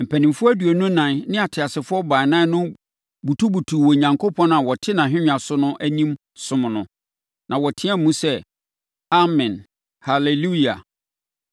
Mpanimfoɔ aduonu ɛnan ne ateasefoɔ baanan no butubutuu Onyankopɔn a ɔte nʼahennwa so no anim somm no. Na wɔteaam sɛ, “Amen, Haleluia!”